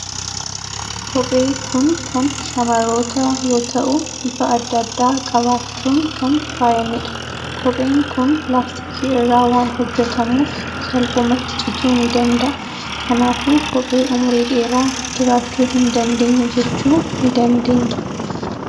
Kophee kun kan shamarrootaa yoo ta'u, bifa adda addaa qabaachuun kan faayamedha. Kopheen kun laastikii irraa waan hojjetamuuf, salphumatti cituu ni danda'a. Kanaafuu kophee umurii dheeraa jiraachuu hin dandeenye jechuu ni dandeenya.